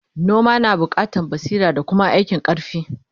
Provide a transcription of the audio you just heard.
noma na buƙatan basira da Kuma aikin karfi